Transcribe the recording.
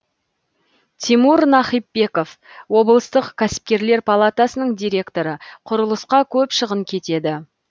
тимур нахипбеков облыстық кәсіпкерлер палатасының директоры құрылысқа көп шығын кетеді